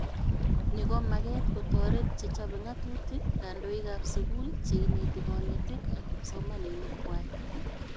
Ni komaget kotoret chechobe ngatutik, kandoikab skul, cheineti konetik, ak kipsomanink kwai